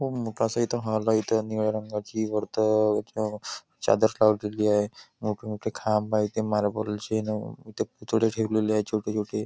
खूप मोठा असं इथ हॉल आहे इथ निळ्या रंगाची वरत चादर लावलेली आहे मोठं मोठे खांब आहेत ते मार्बल चे इथे पुतळे ठेवलेले आहे छोटे छोटे.